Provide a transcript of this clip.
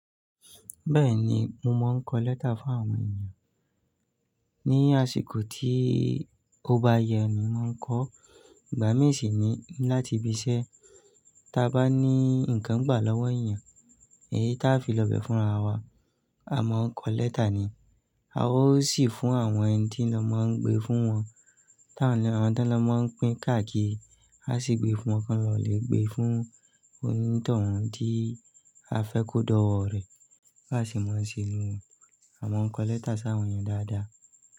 Bẹ́ẹ̀ni, mo máa ń kọ lẹ́tà fún àwọn èèyàn. Ni àsìkò tí ó bá yẹ ni mò ń kọ, ìgbà mí sì ni láti bi iṣẹ́. Taa bá ní ǹkan gbà lọ́wọ́ èèyàn èyí ta fi lọ bẹ̀ fúnra wa, a máa ń kọ lẹ́tà ni. A ó sì fún àwọn ẹni tí lọ máa ń gbé fún wọn. Tán lọ àwọn tó lọ máa ń pín káàkiri. A sì gbé fún ọkàn lọ lè gbé fún onítohun tí a fẹ́ kó dọ̀wọ̀ rẹ̀. Bá sì máa ń ṣe nù ú, a máa ń kọ lẹ́tà sáwọn èèyàn dáadáa.